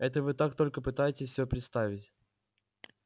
это вы так только пытаетесь всё представить